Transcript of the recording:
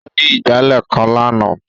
Ó ní ìgbálẹ̀ kan lánàá.